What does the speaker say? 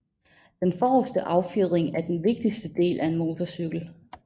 Den forreste affjedring er den vigtigste del af en motorcykel